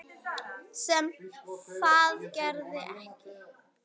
Sem það gerði ekki.